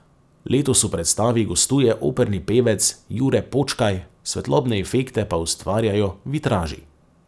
Letos v predstavi gostuje operni pevec Jure Počkaj, svetlobne efekte pa ustvarjajo vitraži.